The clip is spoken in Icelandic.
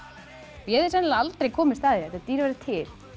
ég hefði sennilega aldrei komist að þetta dýr væri til